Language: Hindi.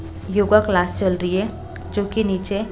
योगा क्लास चल रही है जो कि नीचे--